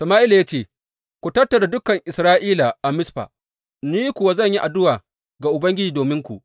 Sama’ila ya ce, Ku tattara dukan Isra’ila a Mizfa, ni kuwa zan yi addu’a ga Ubangiji dominku.